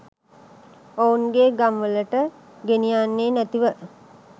ඔවුන්ගේ ගම්වලට ගෙනියන්නේ නැතිව